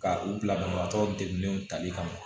Ka u bila banabagatɔ degunnenw tali kama